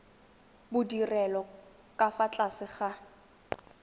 bodirelo ka fa tlase ga